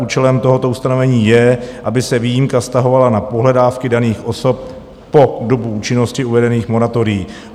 Účelem tohoto ustanovení je, aby se výjimka vztahovala na pohledávky daných osob po dobu účinnosti uvedených moratorií.